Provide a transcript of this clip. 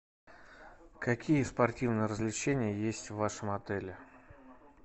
какие спортивные развлечения есть в вашем отеле